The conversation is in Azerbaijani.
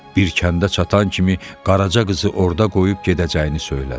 Bir kəndə çatan kimi Qaraca qızı orda qoyub gedəcəyini söylədi.